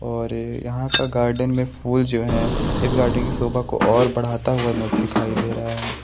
और यहाँ का गार्डन में फूल जो है इस गार्डन की शोभा को और बढाता हुआ न दिखाई दे रहा है।